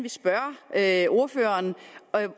det er spørge ordføreren